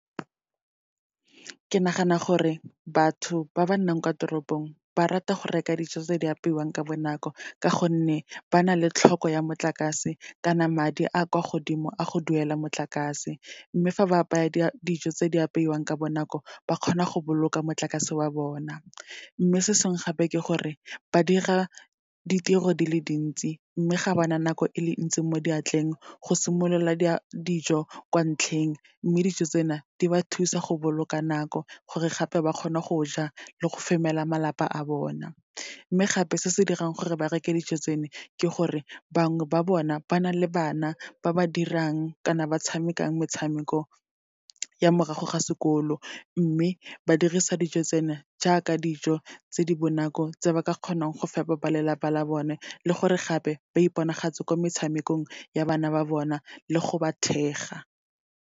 Ke nagana gore batho ba ba nnang kwa toropong, ba rata go reka dijo tse di apeiwang ka bonako, ka gonne ba na le tlhoko ya motlakase, kana madi a kwa godimo a go duela motlakase. Mme fa ba apaya dijo tse di apeiwang ka bonako, ba kgona ka go boloka motlakase wa bona. Mme se sengwe gape, ke gore ba dira ditiro di le dintsi, mme ga bana nako e le ntsi mo diatleng, go simolola dijo kwa ntlheng. Mme dijo tsena, di ba thusa go boloka nako gore gape ba kgone go ja le go femela malapa a bona. Mme gape, se se dirang gore ba reke dijo tseno, ke gore bangwe ba bona ba na le bana ba ba dirang kana ba tshamekang metshameko ya morago ga sekolo, mme ba dirisa dijo tsena jaaka dijo tse di bonako, tse ba ka kgonang go fepa ba lelapa la bone, le gore gape ba iponagatse kwa metshamekong ya bana ba bona le go ba thega.